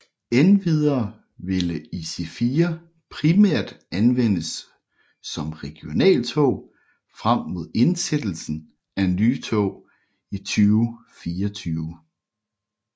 Endvidere ville IC4 primært anvendes som regionaltog frem mod indsættelsen af nye tog i 2024